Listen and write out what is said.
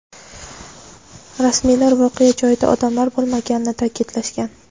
Rasmiylar voqea joyida odamlar bo‘lmaganini ta’kidlashgan.